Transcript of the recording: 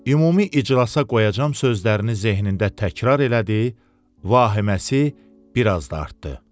Ümumi iclasa qoyacam sözlərini zehnində təkrar elədi, vahiməsi biraz da artdı.